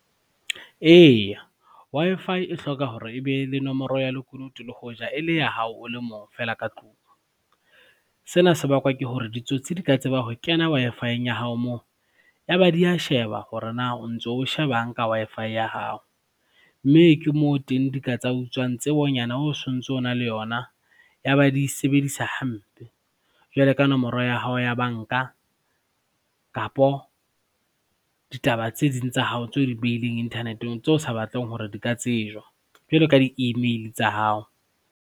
Eya, Wi-Fi e hloka hore ebe le nomoro ya lekunutu le hoja e le ya hao o le mong fela ka tlung. Sena se bakwa ke hore ditsotsi di ka tseba ho kena Wi-Fi-eng ya hao moo, ya ba di a sheba hore na o ntso o shebang ka Wi-Fi ya hao, mme ke moo teng di ka tsa utswang tsebonyane o sontso o na le yona ya ba di e sebedisa hampe. Jwalo ka nomoro ya hao ya banka kapo ditaba tse ding tsa hao tse o dibehileng internet-eng tseo o sa batleng hore di ka tsejwa jwalo ka di-email tsa hao.